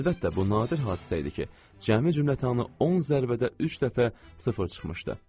Əlbəttə, bu nadir hadisə idi ki, cəmi cümlətanı 10 zərbədə üç dəfə sıfır çıxmışdı.